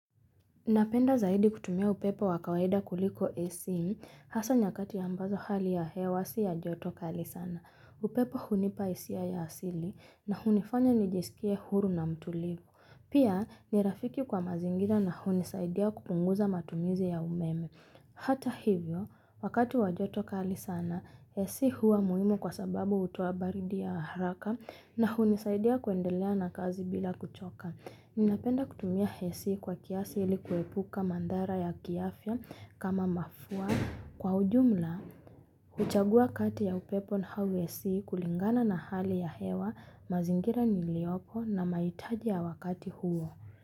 Napenda zaidi kutumia upepo wakawaida kuliko Ac, hasa nyakati ambazo hali ya hewa si ya joto kali sana. Upepo hunipa hisia ya asili na hunifanya nijisikie huru na mtulivu. Pia nirafiki kwa mazingira na hunisaidia kupunguza matumizi ya umeme. Hata hivyo, wakati wajoto kali sana, Ac huwa muhimu kwa sababu hutoa baridi ya haraka na hunisaidia kuendelea na kazi bila kuchoka. Ninapenda kutumia Ac kwa kiasi ilikuepuka mathara ya kiafya kama mafua kwa ujumla. Huchagua kati ya upepo na au Ac kulingana na hali ya hewa mazingira niliopo na mahitaji ya wakati huo.